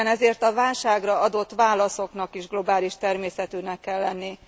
Éppen ezért a válságra adott válaszoknak is globális természetűnek kell lenni.